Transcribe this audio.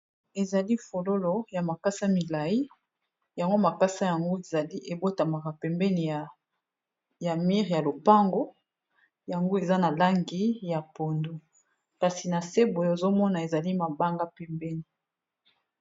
Ezali fololo ya makasa milayi yango makasa yango ezali ebotamaka pembeni ya mur ya lopango. Yango eza na langi ya pondu, Kasi na se boye ozo mona ezali mabanga pembeni.